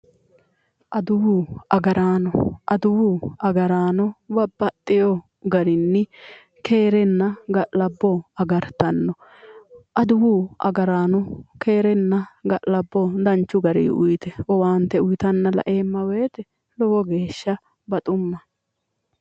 Adawu agarano, adawu agarano babbaxino garinni keerenna ga'labbo agarittano adawu agarano keerenna ga'labbo danchu garinni owaante uyittana laeemma woyte lowo geeshsha baxumma".